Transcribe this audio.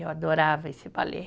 Eu adorava esse balé